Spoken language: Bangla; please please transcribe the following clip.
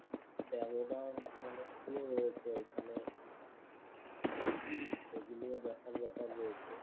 pagoda monastery ও রয়েছে ঐখানে সেগুলোও দেখার ব্যপার রয়েছে।